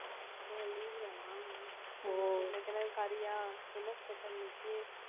ஓ leave தானா இன்னைக்கு என்ன கறியா என்ன special இன்னைக்கு